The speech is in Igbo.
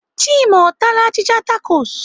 Chima ọ taaala achịcha takos?